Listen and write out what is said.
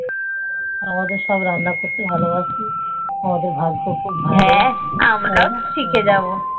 আমি তো সবই রান্না করতে ভালো বাসি আমাদের ভাগ্য খুব ভালো